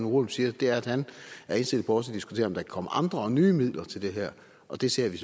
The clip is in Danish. rugholm siger er at han er indstillet på også at diskutere om der kan komme andre og nye midler til det her og det ser vi